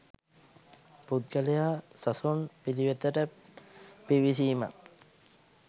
පුද්ගලයා සසුන් පිළිවෙතට පිවිසීමත්,